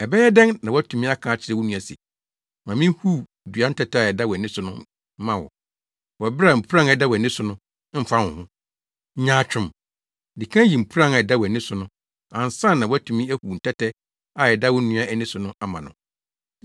Ɛbɛyɛ dɛn na woatumi aka akyerɛ wo nua se, ‘Ma minhuw dua ntɛtɛ a ɛda wʼani so no mma wo,’ wɔ bere a mpuran a ɛda wʼani so no mfa wo ho. Nyaatwom, di kan yi mpuran a ɛda wʼani so no ansa na woatumi ahuw ntɛtɛ a ɛda wo nua ani so no ama no.